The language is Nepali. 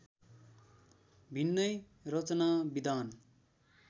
भिन्नै रचनाविधान